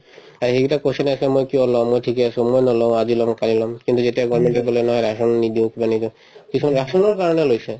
অ, সেইকেইটাৰ question য়ে আছিলে মই কিয় লম মই ঠিকে আছো মই নলওঁ আজি লম কালি লম কিন্তু যেতিয়া government য়ে কলে নহয় rasan নিদিওঁ কিবা নিদিওঁ কিছুমানে rasan কাৰণেও লৈছে